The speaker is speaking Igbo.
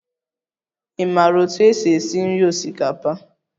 Ị maara otú e si esi esi nri osikapa?